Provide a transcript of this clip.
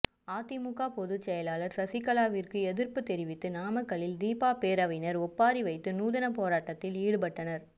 அதிமுக பொதுச்செயலாளர் சசிகலாவிற்கு எதிர்ப்பு தெரிவித்து நாமக்கலில் தீபா பேரவையினர் ஒப்பாரி வைத்து நூதனப் போராட்டத்தில் ஈடுபட்டனர்